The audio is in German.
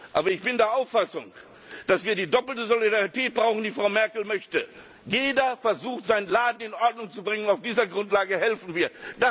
Aber ich bin der Auffassung, dass wir die doppelte Solidarität brauchen, die Frau Merkel möchte. Jeder versucht, seinen Laden in Ordnung zu bringen. Auf dieser Grundlage helfen